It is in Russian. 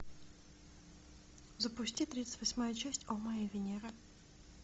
запусти тридцать восьмая часть о моя венера